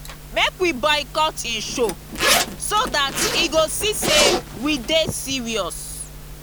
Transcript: make we boycott im show so dat he go see say we dey serious